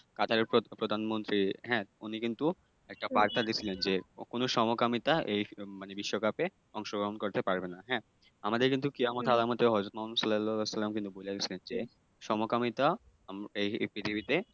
কাতারের প্রধানমন্ত্রী হ্যাঁ উনি কিন্তু একটা বার্তা দিয়েছিলেন যে কোনো সমকামিতা এই মানে বিশ্বকাপে অংশগ্রহণ করতে পারবে না, হ্যাঁ? আমাদের কিন্তু কেয়ামতের আলামতে হজরত মোহাম্মদ সাল্লাল্লাহু সাল্লাম কিন্তু বলে গেছেন যে, সমকামিতা উম এই পৃথিবীতে